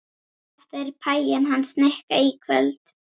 Þetta er pæjan hans Nikka í kvöld.